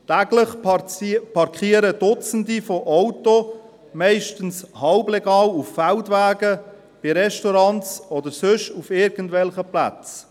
Täglich parkieren Dutzende Autos meist halblegal auf Feldwegen, bei Restaurants oder auf irgendwelchen anderen Plätzen.